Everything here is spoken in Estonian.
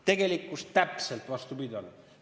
Tegelikkus on täpselt vastupidine olnud.